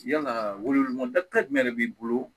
Yalaa weleli ma da jumɛn de b'i bolo